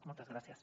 moltes gràcies